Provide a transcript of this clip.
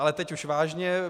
Ale teď už vážně.